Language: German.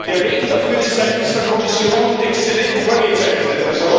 Der Weg dafür ist seitens der Kommission exzellent vorgezeichnet.